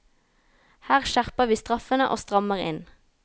Her skjerper vi straffene og strammer inn.